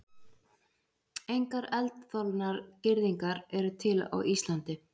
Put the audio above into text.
Engar eldþolnar girðingar eru til á Íslandi.